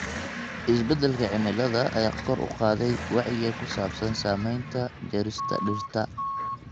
Isbeddelka cimilada ayaa kor u qaaday wacyiga ku saabsan saamaynta jarista dhirta.